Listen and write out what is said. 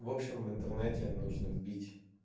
в общем в интернете нужно бить